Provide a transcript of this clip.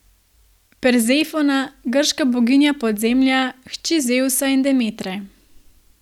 Persefona, grška boginja podzemlja, hči Zevsa in Demetre.